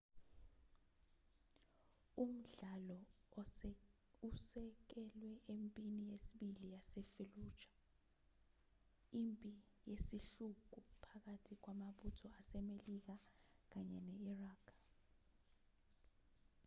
umdlalo usekelwe empini yesibili yasefalluja impi yesihluku phakathi kwamabutho asemelika kanye ne-iraq